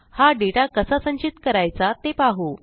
हा डेटा कसा संचित करायचा ते पाहू